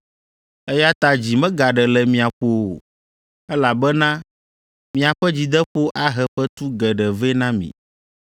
Eya ta dzi megaɖe le mia ƒo o, elabena miaƒe dzideƒo ahe fetu geɖe vɛ na mi.